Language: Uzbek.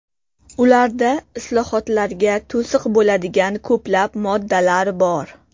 Ularda islohotlarga to‘siq bo‘ladigan ko‘plab moddalar bor.